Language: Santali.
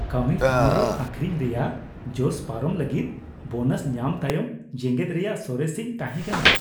ᱠᱟᱹᱢᱤ ᱴᱷᱟᱶᱨᱮ ᱟᱹᱠᱷᱨᱤᱧ ᱨᱮᱭᱟᱜ ᱡᱚᱥ ᱯᱟᱨᱚᱢ ᱞᱟᱹᱜᱤᱫ ᱵᱳᱱᱟᱥ ᱧᱟᱢ ᱛᱟᱭᱚᱢ ᱡᱮᱜᱮᱫ ᱨᱮᱭᱟᱜ ᱥᱚᱨᱮᱥᱤᱧ ᱛᱟᱦᱮᱸ ᱠᱟᱱᱟ ᱾